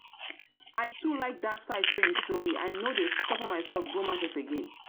i too like that site wey you show me i no dey suffer myself go market again go market again